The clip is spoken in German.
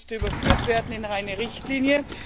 Dies musste überführt werden in eine Richtlinie.